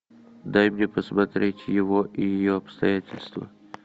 дай мне посмотреть его и ее обстоятельства